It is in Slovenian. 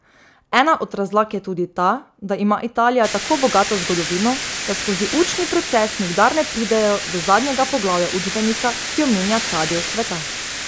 Ena od razlag je tudi ta, da ima Italija tako bogato zgodovino, da skozi učni proces nikdar ne pridejo do zadnjega poglavja učbenika, ki omenja ta del sveta.